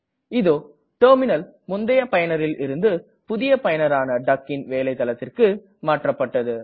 இதோ டெர்மினல் முந்தய பயனரில் இருந்து புதிய பயனரான duckன் வேலை தளத்திற்கு மாற்றப்பட்டது